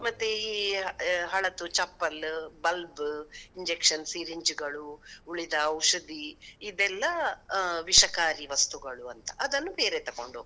ಮತ್ತೆ ಈ ಆ ಹಳತು ಚಪ್ಪಲ್ bulb, injection syringe ಗಳು, ಉಳಿದ ಔಷಧಿ ಇದೆಲ್ಲ ಆ ವಿಷಕಾರಿ ವಸ್ತುಗಳು ಅಂತ, ಅದನ್ನು ಬೇರೆ ತೊಕೊಂಡೋಗ್ತಾರೆ.